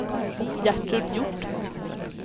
Gertrud Hjort